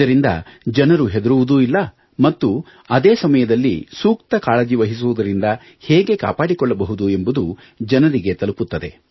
ಇದರಿಂದ ಜನರು ಹೆದರುವುದೂ ಇಲ್ಲ ಮತ್ತು ಅದೇ ಸಮಯದಲ್ಲಿ ಸೂಕ್ತ ಕಾಳಜಿವಹಿಸುವುದರಿಂದ ಹೇಗೆ ಕಾಪಾಡಿಕೊಳ್ಳಬಹುದು ಎಂಬುದು ಜನರಿಗೆ ತಲುಪುತ್ತದೆ